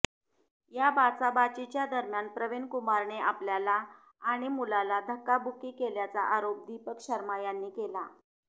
या बाचाबाचीदरम्यान प्रवीण कुमारने आपल्याला आणि मुलाला धक्काबुक्की केल्याचा आरोप दीपक शर्मा यांनी केला